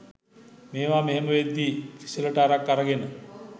මේවා මෙහෙම වෙද්දි ප්‍රිසිලට අරක් අරගෙන